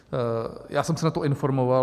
Já jsem se na to informoval.